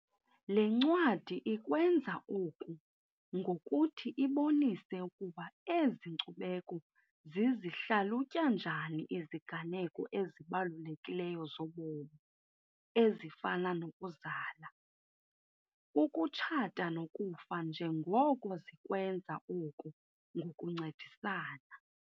Le ncwadi ikwenza oku ngokuthi ibonise ukuba ezi nkcubeko zizihlalutya njani iziganeko ezibalulekileyo zobomi ezifana nokuzala, ukutshata nokufa njengoko zikwenza oku ngokuncedisana.